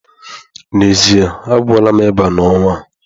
N'ezie, a gwọọla m ịba n'ọnwa a.